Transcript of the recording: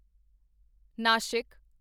Nashik